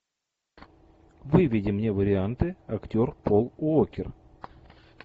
выведи мне варианты актер пол уокер